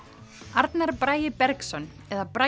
Arnar Bragi Bergsson eða Bragi